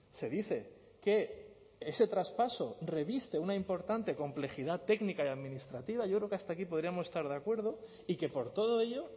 se dice que ese traspaso reviste una importante complejidad técnica y administrativa yo creo que hasta aquí podríamos estar de acuerdo y que por todo ello